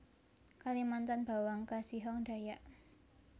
Kalimantan bawang kasihong Dayak